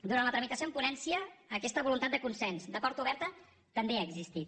durant la tramitació en ponència aquesta voluntat de consens de porta oberta també ha existit